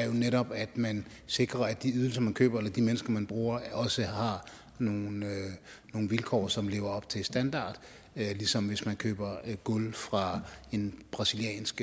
er jo netop at man sikrer at de ydelser man køber eller de mennesker man bruger også har nogle vilkår som lever op til standarden ligesom hvis man køber gulv fra en brasiliansk